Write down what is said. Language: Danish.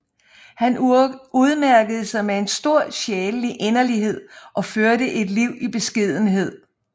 Han udmærkede sig med en stor sjælelig inderlighed og førte et liv i beskedenhed